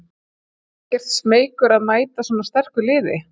Ekkert smeykur að mæta svona sterku liði?